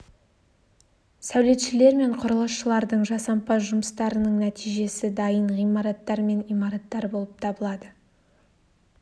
сәулетшілер мен құрылысшылардың жасампаз жұмыстарының нәтижесі дайын ғимараттар мен имараттар болып табылады